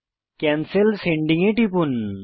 cancel sending এ টিপুন